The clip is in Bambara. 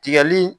Tigɛli